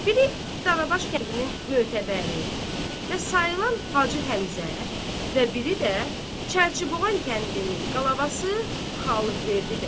Biri Dalabaş kəndinin mötəbəri və sayılan Hacı Həmzə və biri də Çərçiboğan kəndinin qalabası Xalıqverdi bəy.